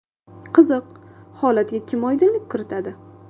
Qiziq, holatga kim oydinlik kiritadi?